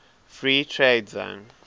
free trade zone